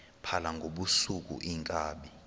phala ngobusuku iinkabi